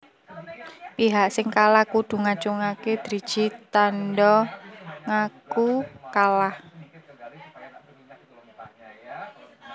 Pihak sing kalah kudu ngacungaké driji tanda ngaku kalah